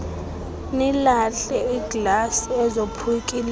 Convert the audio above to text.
nilahle iiglasi ezophukileyo